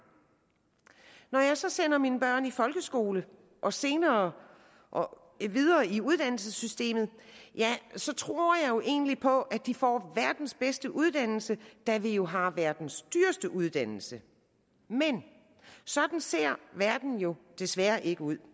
når jeg så sender mine børn i folkeskole og senere videre i uddannelsessystemet tror jeg jo egentlig på at de får verdens bedste uddannelse da vi jo har verdens dyreste uddannelse men sådan ser verden jo desværre ikke ud